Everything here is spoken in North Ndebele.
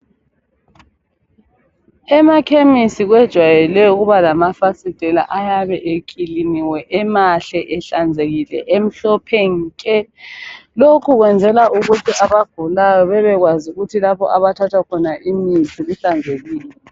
Emakhemesi kwejwayeleke ukuba lamafasitela ayabe ekliniwe emahle enhlanzekile emhlophe nke lokhu kwenzelwa abagulayo bebekwazi ukuthi lapho okuthathwa khona imithi kuhlanzekile.